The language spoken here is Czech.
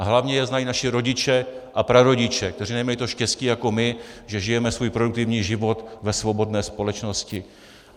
A hlavně jej znají naši rodiče a prarodiče, kteří nemají to štěstí jako my, že žijeme svůj produktivní život ve svobodné společnosti.